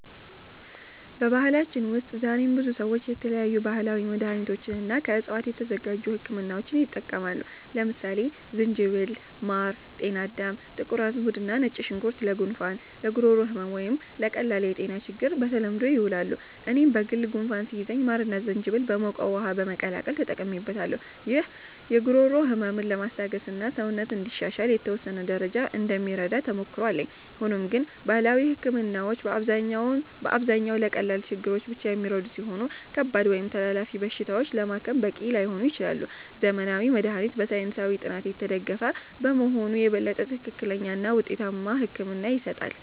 በባህላችን ውስጥ ዛሬም ብዙ ሰዎች የተለያዩ ባህላዊ መድሃኒቶችንና ከዕፅዋት የተዘጋጁ ህክምናዎችን ይጠቀማሉ። ለምሳሌ ዝንጅብል፣ ማር፣ ጤናዳም፣ ጥቁር አዝሙድ እና ነጭ ሽንኩርት ለጉንፋን፣ ለጉሮሮ ህመም ወይም ለቀላል የጤና ችግሮች በተለምዶ ይውላሉ። እኔም በግል ጉንፋን ሲይዘኝ ማርና ዝንጅብል በሞቀ ውሃ በመቀላቀል ተጠቅሜበታለሁ። ይህ የጉሮሮ ህመምን ለማስታገስና ሰውነትን እንዲሻሻል በተወሰነ ደረጃ እንደሚረዳ ተሞክሮ አለኝ። ሆኖም ግን ባህላዊ ህክምናዎች በአብዛኛው ለቀላል ችግሮች ብቻ የሚረዱ ሲሆኑ፣ ከባድ ወይም ተላላፊ በሽታዎችን ለማከም በቂ ላይሆኑ ይችላሉ። ዘመናዊ መድሃኒት በሳይንሳዊ ጥናት የተደገፈ በመሆኑ የበለጠ ትክክለኛና ውጤታማ ሕክምና ይሰጣል።